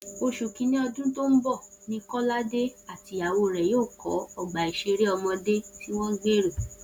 Oṣù Kínní ọdún tó ń bọ̀ ni Kọ́ládé àti ìyàwó rẹ̀ yóò kọ́ ọgbà ìṣeré ọmọdé tí wọ́n gbèrò